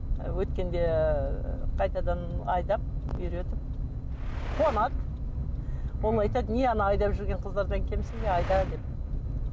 өткенде қайтадан айдап үйретіп не ана айдап жүрген қыздардан кемсің бе айда деп